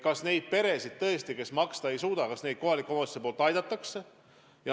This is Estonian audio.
Kas neid peresid, kes maksta ei suuda, kohalikud omavalitsused ikka aitavad?